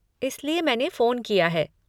इसलिए मैंने फ़ोन किया है।